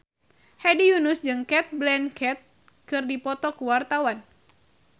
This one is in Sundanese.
Hedi Yunus jeung Cate Blanchett keur dipoto ku wartawan